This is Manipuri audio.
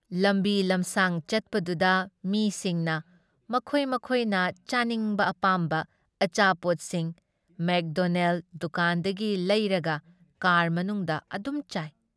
ꯂꯝꯕꯤ ꯂꯝꯁꯥꯡ ꯆꯠꯄꯗꯨꯗ ꯃꯤꯁꯤꯡꯅ ꯃꯈꯣꯏ ꯃꯈꯣꯏꯅ ꯆꯥꯅꯤꯡꯕ ꯑꯄꯥꯝꯕ ꯑꯆꯥꯄꯣꯠꯁꯤꯡ ꯃꯦꯛꯗꯣꯅꯦꯜ ꯗꯨꯀꯥꯟꯗꯒꯤ ꯂꯩꯔꯒ ꯀꯥꯔ ꯃꯅꯨꯡꯗ ꯑꯗꯨꯝ ꯆꯥꯏ ꯫